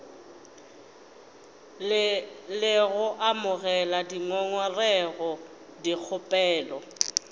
le go amogela dingongorego dikgopelo